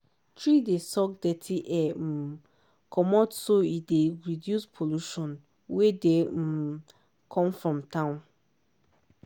tree dey suck dirty air um comot so e dey reduce pollution wey dey um come from town.